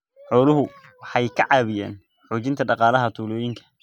Xooluhu waxay ka caawiyaan xoojinta dhaqaalaha tuulooyinka.